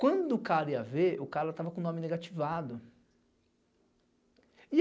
Quando o cara ia ver, o cara tava com o nome negativado.